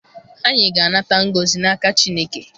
Anyị ga-anata ngọzi n'aka Chineke.